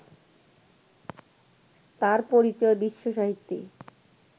তাঁর পরিচয় বিশ্ব সাহিত্যে